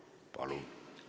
Palun!